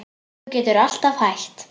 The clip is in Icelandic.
Þú getur alltaf hætt